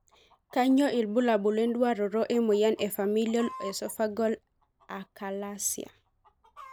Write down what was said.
Kanyio ibulabul wenduaroto emoyian e Familial esophageal achalasia?